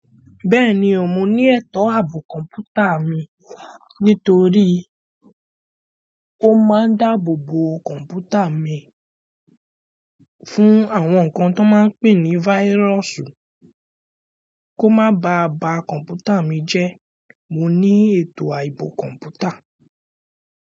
Bẹ́ẹ̀ni, mo ní ètò ààbò kọ̀ǹpútà mi nítorí ó máa ń dáàbò bo kọ̀ǹpútà mi fún àwọn nǹkan tó máa ń pè ní váírọ́ọ̀sù kó má ba a ba kọ̀ǹpútà mi jẹ́. Mo ní ètò ààbò kọ̀ǹpútà.